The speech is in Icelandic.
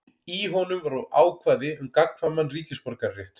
Í honum voru ákvæði um gagnkvæman ríkisborgararétt.